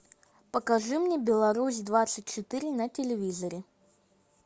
покажи мне беларусь двадцать четыре на телевизоре